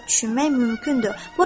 Burada azad düşünmək mümkündür.